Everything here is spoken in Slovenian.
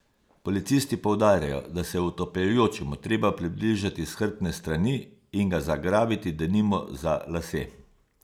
Policisti poudarjajo, da se je utapljajočemu treba približati s hrbtne strani in ga zagrabiti denimo za lase.